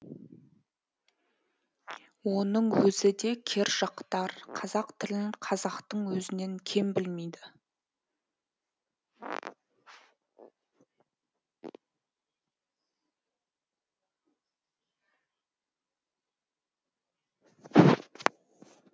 оның өзі де кержақтар қазақ тілін қазақтың өзінен кем білмейді